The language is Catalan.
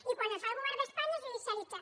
i quan ho fa el govern d’espanya és judicialitzar